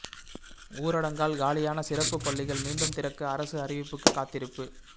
ஊரடங்கால் காலியான சிறப்பு பள்ளிகள் மீண்டும் திறக்க அரசு அறிவிப்புக்கு காத்திருப்பு